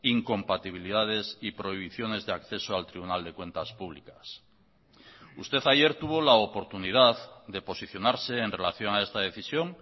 incompatibilidades y prohibiciones de acceso al tribunal de cuentas públicas usted ayer tuvo la oportunidad de posicionarse en relación a esta decisión